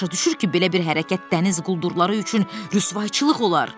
O başa düşür ki, belə bir hərəkət dəniz quldurları üçün rüsvayçılıq olar.